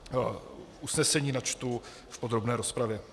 Usnesení načtu v podrobné rozpravě.